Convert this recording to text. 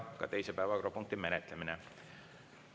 Teise päevakorrapunkti menetlemine on lõpetatud.